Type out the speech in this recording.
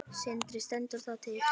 Sindri: Stendur það til?